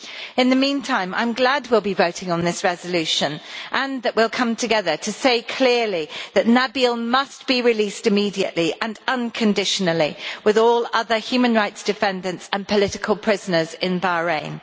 In the meantime, I am glad will be voting on this resolution and that we will come together to say clearly that Nabeel must be released immediately and unconditionally, with all other human rights defenders and political prisoners in Bahrain.